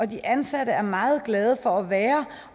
de ansatte er meget glade for at være